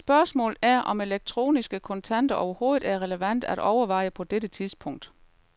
Spørgsmålet er, om elektroniske kontanter, overhovedet er relevante at overveje på dette tidspunkt.